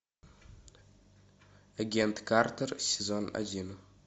агент картер сезон один